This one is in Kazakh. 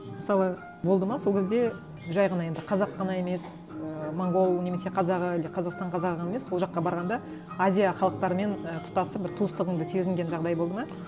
мысалы болды ма сол кезде жай ғана енді қазақ қана емес і монғол немесе қазақ әлде қазақстан қазағы емес ол жаққа барғанда азия халықтарымен і тұтасық бір туыстығыңды сезінген жағдай болды ма